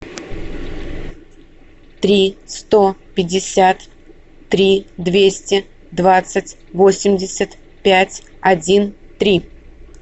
три сто пятьдесят три двести двадцать восемьдесят пять один три